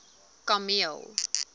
kameel